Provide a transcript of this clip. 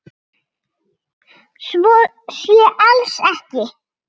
Svo sé alls ekki.